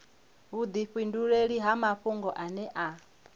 vhudifhinduleli ha mafhungo ane a